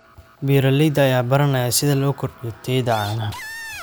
Beeralayda ayaa baranaya sida loo kordhiyo tayada caanaha.